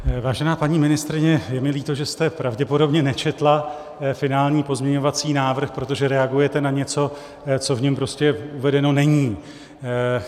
Vážená paní ministryně, je mi líto, že jste pravděpodobně nečetla finální pozměňovací návrh, protože reagujete na něco, co v něm prostě uvedeno není.